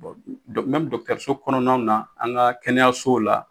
Bɔn mɛmi dɔkitɛriso kɔnɔnaw na an ka kɛnɛyasow la